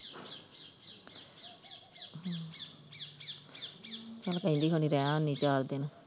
ਚੱਲ ਕਹਿੰਦੀ ਹੋਣੀ ਰਹਿ ਆਉਣੀ ਚਾਰ ਦਿਨ।